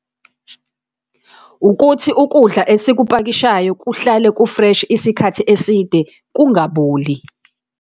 Ukuthi ukudla esikupakishayo kuhlale ku-fresh isikhathi eside, kungaboli.